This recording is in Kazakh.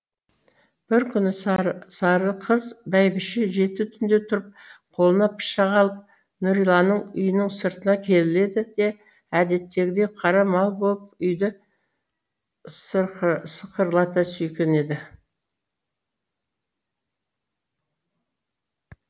бір күні сарықыз бәйбіше жеті түнде тұрып қолына пышақ алып нүриланың үйінің сыртына келеді де әдеттегідей қара мал болып үйді сықырлата сүйкенеді